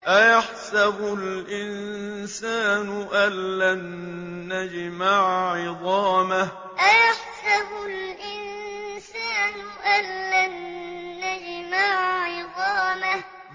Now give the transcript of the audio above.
أَيَحْسَبُ الْإِنسَانُ أَلَّن نَّجْمَعَ عِظَامَهُ أَيَحْسَبُ الْإِنسَانُ أَلَّن نَّجْمَعَ عِظَامَهُ